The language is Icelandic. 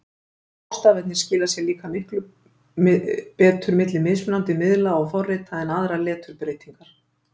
Hástafirnir skila sér líka betur milli mismunandi miðla og forrita en aðrar leturbreytingar.